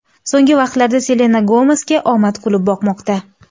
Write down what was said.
So‘nggi vaqtlarda Selena Gomesga omad kulib boqmoqda.